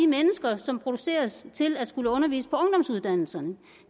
mennesker som produceres til at skulle undervise på ungdomsuddannelserne